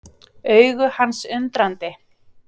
Augu hans undrandi.